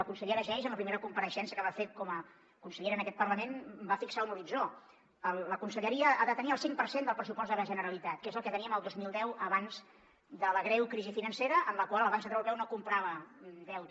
la consellera geis en la primera compareixença que va fer com a consellera en aquest parlament va fixar un horitzó la conselleria ha de tenir el cinc per cent del pressupost de la generalitat que és el que teníem el dos mil deu abans de la greu crisi financera en la qual el banc central europeu no comprava deute